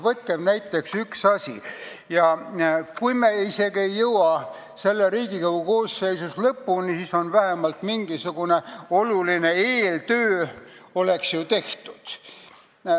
Võtame näiteks ühe asja ette ja kui me isegi ei jõua sellega praeguse Riigikogu koosseisu ajal lõpuni, siis oleks ju vähemalt oluline eeltöö tehtud.